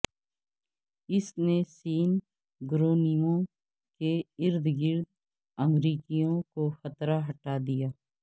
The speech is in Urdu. اس نے سین گرونیمو کے ارد گرد امریکیوں کو خطرہ ہٹا دیا